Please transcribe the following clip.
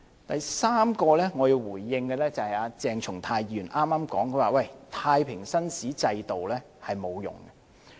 第三，我要回應的，就是鄭松泰議員剛才說，太平紳士制度沒有用。